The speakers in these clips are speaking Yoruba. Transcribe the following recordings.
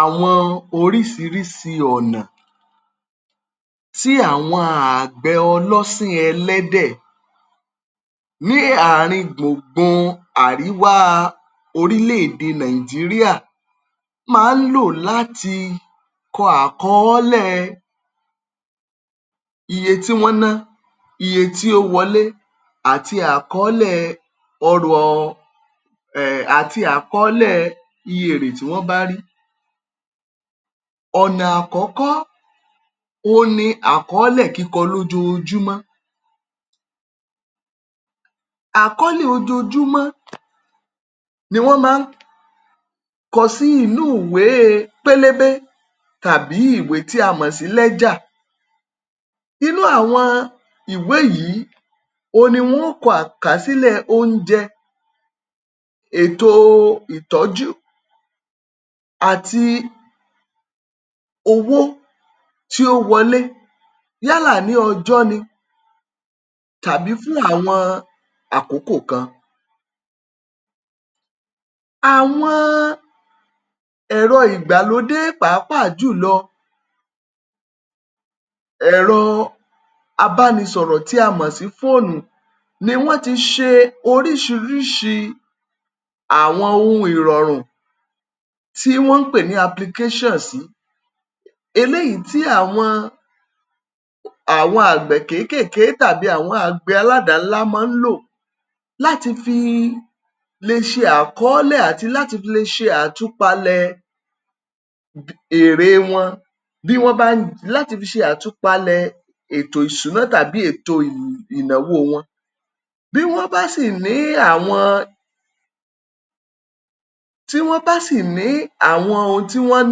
Àwọn orísirísi ọ̀nà tí àwọn àgbẹ̀ ọlọ́sìn ẹlẹ́dẹ̀ ní àárín gbùngbun Àríwá orílẹ̀ èdè Nàìjíríà máa ń lò láti kọ àkọ́ọ́lẹ̀ iye tí wọ́n ná, iye tí ó wọlé àti àkọ́ọ́lẹ̀ ọrọ̀ọ um àti àkọ́ọ́lẹ̀ iye èrè tí wọ́n bá ri. Ọ̀nà àkọ́kọ́ òun ni àkọ́ọ́lẹ̀ kíkọ lójoojúmọ́. Àkọ́ọ́lẹ̀ ojoojúmọ́ ni wọ́n máa ń kọ sí inú ìwée pélébé tàbí ìwé tí a mọ̀ sí. Inú àwọn ìwé yìí òun ni wọ́n á kọ àkàsílẹ̀ oúnjẹ, ètò ìtọ́jú àti owó tí ó wọlé yálà ní ọjọ́ ni tàbí fún àwọn àkókò kan. Àwọn ẹ̀rọ ìgbàlódé pàápàá jùlọ ẹ̀rọ abánisọ̀rọ̀ tí a mọ̀ sí fóònù ni wọ́n ti ṣe oríṣiríṣi àwọn ohun ìrọ̀rùn tí wọ́n ń pè ní sí. Eléyìí tí àwọn àwọn àgbẹ̀ kékèké tàbí àwọn àgbẹ̀ aládàá ńlá máa ń lò láti fi le ṣe àkọ́ọ́lẹ̀ àti láti fi le ṣe àtúpalẹ̀ èrèe wọn bí wọ́n bá láti fi ṣe àtúpalẹ̀ ètò ìṣúná tàbí ètò ìnáwó wọn. Bí wọ́n bá sì ní àwọn tí wọ́n bá sì ní àwọn ohun tí wọ́n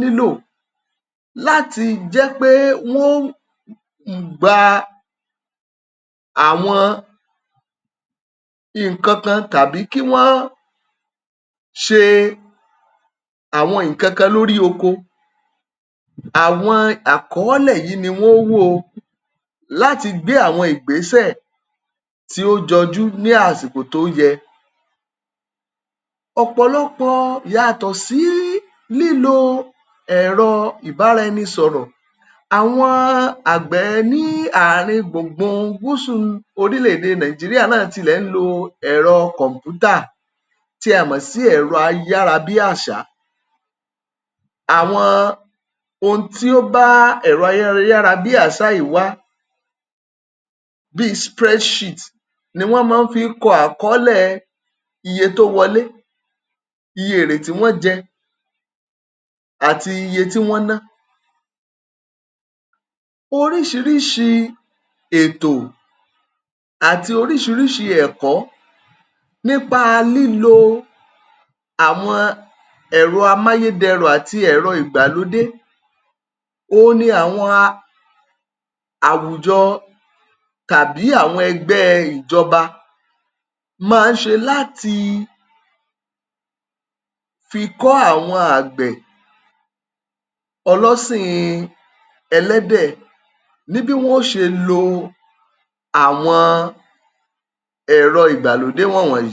nílò láti jẹ́ pé wọ́n um gba àwọn ǹkankan tàbí kí wọ́n ṣe àwọn ǹkankan lórí oko, àwọn àkọ́ọ́lẹ̀ yìí ni wọ́n ó wò o láti gbé àwọn ìgbésẹ̀ tí ó jọjú ní àsìkò tó yẹ. Ọ̀pọ̀lọpọ̀ yàtọ̀ sí lílo ẹ̀rọ ìbáraẹnisọ̀rọ̀, àwọn àgbè ní àárín gbùgbun Gúúsù orílẹ̀ èdè Nàìjíríà náà ń tilẹ̀ ń lo ẹ̀rọ kòm̀pútà tí a mọ̀ sí ẹ̀rọ ayárabíàṣá. Àwọn ohun tí ó bá ẹ̀rọ ayárabíàṣá yìí wà bíi ni n wọ́n máa fi ń kọ àkọ́ọ́lẹ̀ iye tó wọlé, iye èrè tí wọ́n jẹ àti iye tí wọ́n ná. oríṣiríṣi ètò àti oríṣiríṣi ẹ̀kọ́ nípa lílo àwọn ẹ̀rọ amáyédẹrùn àti ẹ̀rọ ìgbàlódé òun ni àwọn um àwùjọ tàbí àwọn ẹgbẹ́ ìjọba máa ń ṣe láti fi kọ́ àwọn àgbẹ̀ ọlọ́sìn-in ẹlẹ́dẹ̀ ní bí wọn ó ṣe lo àwọn ẹ̀rọ ìgbàlódé wọ̀nwọ̀nyí.